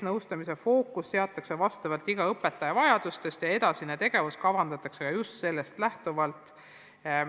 Nõustamise fookus seatakse vastavalt õpetaja vajadustele ja edasine tegevus kavandatakse just sellest lähtuvalt.